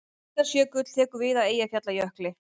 Mýrdalsjökull tekur við af Eyjafjallajökli.